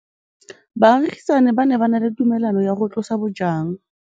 Baagisani ba ne ba na le tumalanô ya go tlosa bojang.